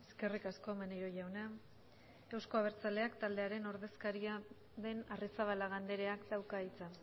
eskerrik asko maneiro jauna euzko abertzaleak taldearen ordezkaria den arrizabalaga andreak dauka hitza